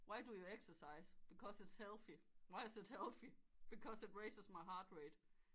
Why do you exercise because it's healthy why is it healthy because it raises my heart rate